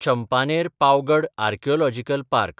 Champaner-Pavagadh archaeological park